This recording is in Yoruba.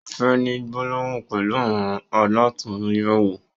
O fẹ ni gbólóhùn pẹlu àwọn alàtúnyẹwò.